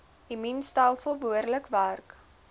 immuunstelsel behoorlik werk